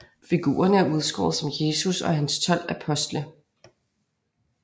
Figurerne er udskåret som Jesus og hans tolv apostle